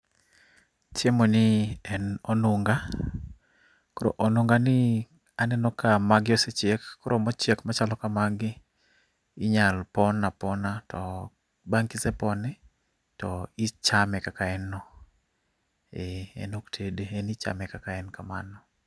Chiemo ni en onung'a ,koro onung'ani aneno ka magi osechiek koro mochiek machalo kamagi inyalo pon apona to bang'e kisepone to ichame kaka en no e en ok tede en ichame kaka en kamano.